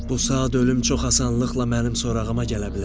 Bu saat ölüm çox asanlıqla mənim sorağıma gələ bilər.